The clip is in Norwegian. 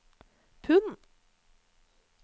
pund